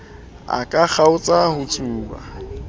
a ka kgaotsa ho tsuba